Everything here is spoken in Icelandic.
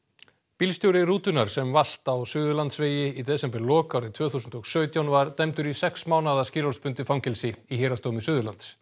bílstjóri rútunnar sem valt á Suðurlandsvegi í desemberlok árið tvö þúsund og sautján var dæmdur í sex mánaða skilorðsbundið fangelsi í Héraðsdómi Suðurlands